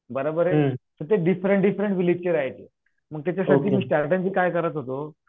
बराबर आहे तिथे डिफरंट डिफरंट राहायचे मग त्याच्यासोबत मी काय करत होतो.